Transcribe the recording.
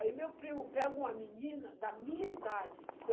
Aí meu primo pega uma menina da minha idade.